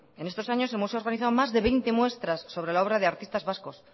en estos años el museo ha organizado más de veinte muestras sobre la obra de artistas vascos